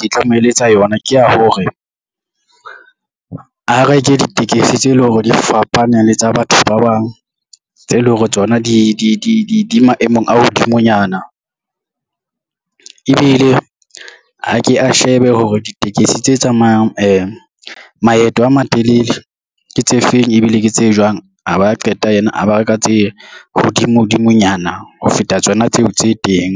Ke tla mo eletsa yona ke ya hore, a reke ditekesi tse leng hore di fapane le tsa batho ba bang, tseo eleng hore tsona di maemong a hodimonyana, ebile a ke a shebe hore ditekesi tse tsamayang maeto a matelele ke tse feng, ebile ke tse jwang a ba qeta yena a ba reka tse hodimo dimonyana ho feta tsona tseo tse teng.